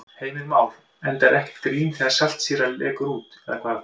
Heimir Már: Enda ekkert grín þegar saltsýra lekur út eða hvað?